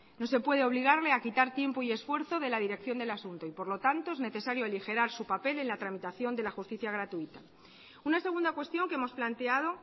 no se puede obligarle a quitar tiempo y esfuerzo de la dirección del asunto y por lo tanto es necesario aligerar su papel en la tramitación de la justicia gratuita una segunda cuestión que hemos planteado